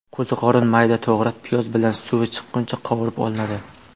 Qo‘ziqorin mayda to‘g‘ralib, piyoz bilan suvi chiqquncha qovurib olinadi.